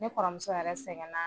Ne kɔrɔmuso yɛrɛ sɛgɛn na